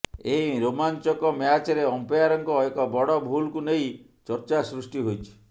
ଏହି ରୋମାଞ୍ଚକ ମ୍ୟାଚ୍ରେ ଅମ୍ପାୟରଙ୍କ ଏକ ବଡ଼ ଭୁଲକୁ ନେଇ ଚର୍ଚ୍ଚା ସୃଷ୍ଟି ହୋଇଛି